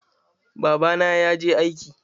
Babana ya je aiki.